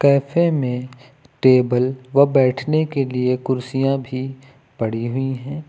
Cafe मे table व बैठने के लिए कुर्सियां भी पड़ी हुई हैं।